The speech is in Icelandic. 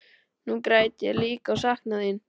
Nú græt ég líka og sakna þín.